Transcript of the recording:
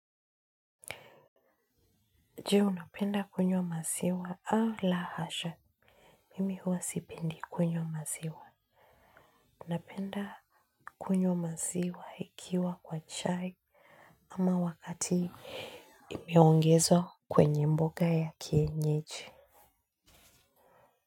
Je unapenda kunywa maziwa au la hasha. Mimi huwa sipendi kunywa maziwa. Unapenda kunywa maziwa ikiwa kwa chai ama wakati imeongezwa kwenye mboga ya kienyeji.